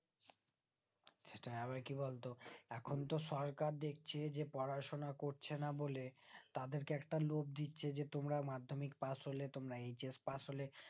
সেটাই আবার কি বলতো এখন তো সরকার দেখছে যে পড়াশোনা করছেন বলে তাদেরকে একটা লোব দিচ্ছে যে তোমরা madhyamik pass হলে তোমরা HSpass হলে